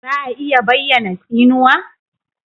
Za a iya bayyana tsinuwa?